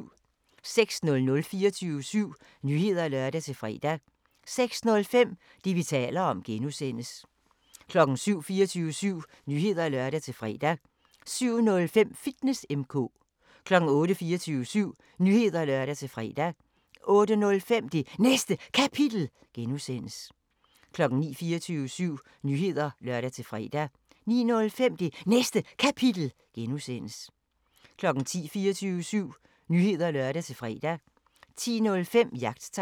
06:00: 24syv Nyheder (lør-fre) 06:05: Det, vi taler om (G) 07:00: 24syv Nyheder (lør-fre) 07:05: Fitness M/K 08:00: 24syv Nyheder (lør-fre) 08:05: Det Næste Kapitel (G) 09:00: 24syv Nyheder (lør-fre) 09:05: Det Næste Kapitel (G) 10:00: 24syv Nyheder (lør-fre) 10:05: Jagttegn